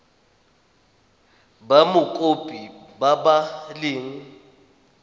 ba mokopi ba ba leng